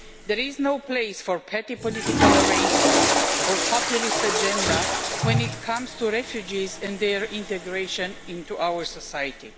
There is no place for petty political arrangements or a populist agenda when it comes to refugees and their integration into our society.